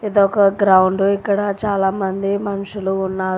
ఇది ఒక గ్రౌండ్ ఇక్కడ చాలామంది మనుషులు ఉన్నారు.